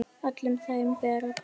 Öllum þeim ber að þakka.